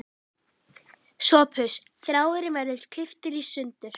Þú átt ekki vera svona grimmur við hann frænda okkar!